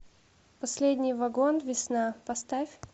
последний вагон весна поставь